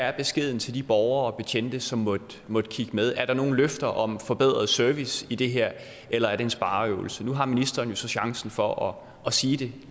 er beskeden til de borgere og betjente som måtte måtte kigge med er der nogen løfter om forbedret service i det her eller er det en spareøvelse nu har ministeren jo så chancen for at sige det